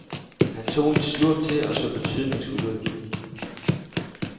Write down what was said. Han tog en slurk til og så betydningsfuld ud.